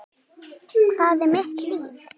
Hvað með mitt líf?